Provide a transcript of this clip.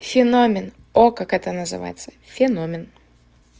феномен о как это называется феномен